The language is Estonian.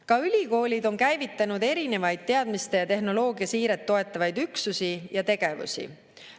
Ka ülikoolid on käivitanud erinevaid teadmiste ja tehnoloogia siiret toetavaid üksusi ja tegevusi.